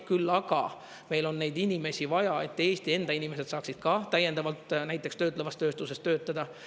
Küll aga meil on neid inimesi vaja, et Eesti enda inimesed saaksid ka täiendavalt näiteks töötlevas tööstuses töötada.